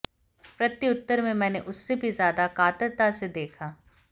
प्रत्युत्तर में मैंने उससे भी ज्यादा कातरता से देखा